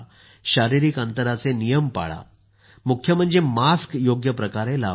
शारीरिक अंतराचे नियम पाळा मास्क योग्य प्रकारे लावा